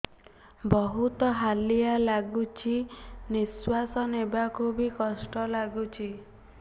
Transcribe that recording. ବହୁତ୍ ହାଲିଆ ଲାଗୁଚି ନିଃଶ୍ବାସ ନେବାକୁ ଵି କଷ୍ଟ ଲାଗୁଚି